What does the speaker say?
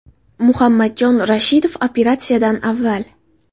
Muhammadjon Rashidov operatsiyadan avval.